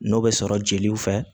N'o bɛ sɔrɔ jeliw fɛ